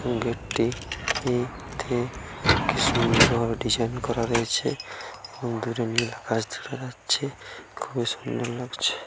গেটটি টি কি সুন্দর ভাবে ডিজাইন করা রয়েছে দূরে নীল আকাশ দেখা যাচ্ছে খুবই সুন্দর লাগছে ।